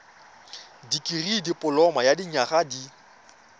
dikirii dipoloma ya dinyaga di